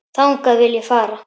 Þangað vil ég fara.